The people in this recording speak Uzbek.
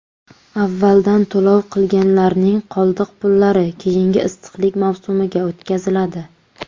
Avvaldan to‘lov qilganlarning qoldiq pullari keyingi issiqlik mavsumiga o‘tkaziladi.